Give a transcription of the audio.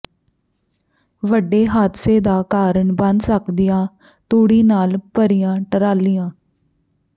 ਵੱਡੇ ਹਾਦਸੇ ਦਾ ਕਾਰਨ ਬਣ ਸਕਦੀਆਂ ਤੂੜੀ ਨਾਲ ਭਰੀਆਂ ਟਰਾਲੀਆਂ